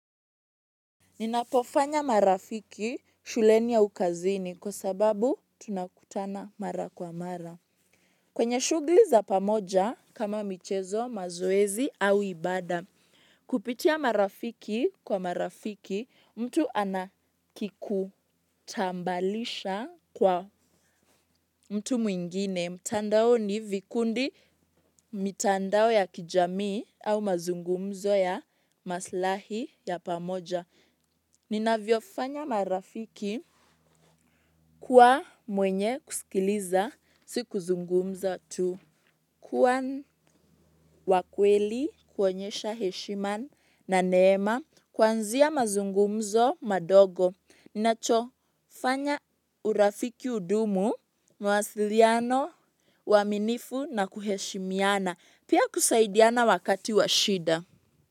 Ninapofanya marafiki shuleni au kazini kwasababu tunakutana mara kwa mara. Kwenye shughuli za pamoja kama michezo mazoezi au ibada. Kupitia marafiki kwa marafiki mtu anakikutambalisha kwa mtu mwingine. Mutandaoni vikundi mitandao ya kijamii au mazungumzo ya maslahi ya pamoja. Ninavyofanya marafiki kuwa mwenye kusikiliza si kuzungumza tu. Kua wakweli kuonyesha heshima na neema kwanzia mazungumzo madogo. Inachofanya urafiki udumu, mawasiliano, uaminifu na kuheshimiana, pia kusaidiana wakati wa shida.